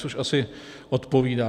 Což asi odpovídá.